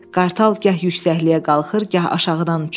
Qartal gah yüksəkliyə qalxır, gah aşağıdan uçurdu.